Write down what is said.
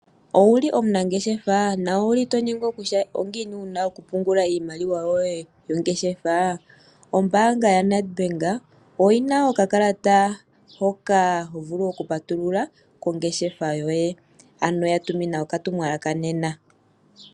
Owuli omunangeshefa na owuli to nyengwa kutya ongiini wuna okupungula iimaliwa yoye yongeshefa? Ombaanga ya NedBank oyina okakalata hoka ho vulu okupatulula kongeshefa yoye, ano ya tumina okatumwalaka nena.